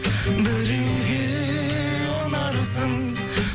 біреуге ұнарсың